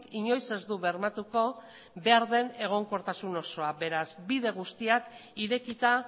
inoiz ez du bermatuko behar den egonkortasun osoa beraz bide guztiak irekita